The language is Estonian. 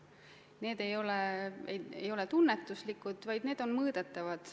Need ei ole tunnetuslikud, vaid need on mõõdetavad.